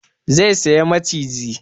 Zai saya maciji